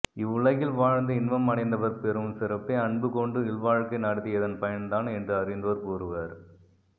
இவ்வுலகில் வாழ்ந்து இன்பம் அடைந்தவர் பெறும் சிறப்பே அன்பு கொண்டு இல்வாழ்க்கை நடத்தியதன் பயன்தான் என்று அறிந்தோர் கூறுவர்